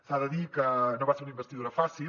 s’ha de dir que no va ser una investidura fàcil